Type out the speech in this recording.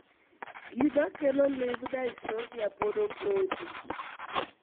Gima kelo limb dystonia pod opondo.